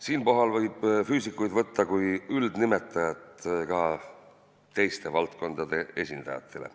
Siinkohal võib "füüsikuid" käsitleda kui üldnimetajat teistegi valdkondade esindajatele.